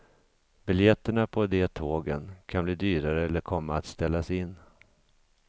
Biljetterna på de tågen kan bli dyrare eller komma att ställas in.